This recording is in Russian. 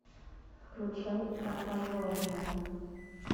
включай прокаженная